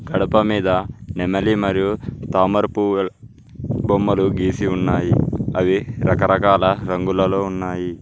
గడప మీద నెమలి మరియు తామర పువ్వు బొమ్మలు గీసి ఉన్నాయి అవి రకరకాల రంగులలో ఉన్నాయి.